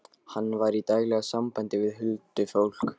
Hann var í daglegu sambandi við huldufólk.